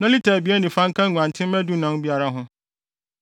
na lita abien ne fa nka nguantenmma dunan no biara ho.